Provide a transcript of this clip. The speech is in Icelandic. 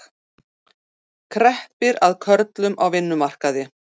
Kreppir að körlum á vinnumarkaði